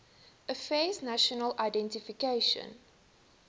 affairs national identification